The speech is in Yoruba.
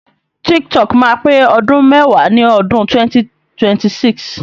TikTok máa pé ọdún mẹ́wàá ní odún 2026.